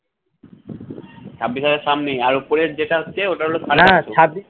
ছাব্বিশ হাজার সামনে আর উপরে যেটা হচ্ছে ওটা হল